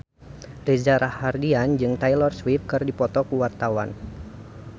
Reza Rahardian jeung Taylor Swift keur dipoto ku wartawan